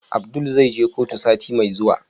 Abdul zai je kotu sati Mai zuwa?